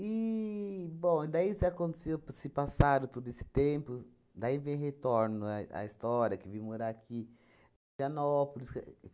bom, daí isso aconteceu, p se passaram todo esse tempo, daí vem retorno à à história, que vim morar aqui